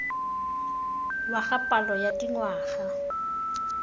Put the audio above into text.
wa ga palo ya dingwaga